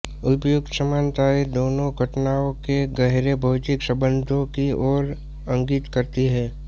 उपर्युक्त समानताएँ दोनो घटनाओं के गहरे भौतिक संबंधों की ओर इंगित करती है